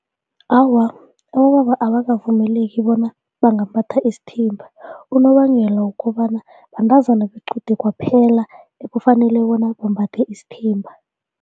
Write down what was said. Awa, abobaba abakavumeleki bona bangaphatha isithimba unobangela wokobana bentazana bequde kwaphela ekufanele bona bambathe isithimba.